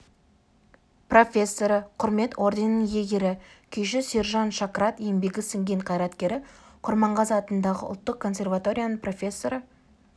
профессоры құрмет орденінің иегері күйші сержан шакрат еңбегі сіңген қайраткері құрманғазы атындағы ұлттық консерваторияның профессоры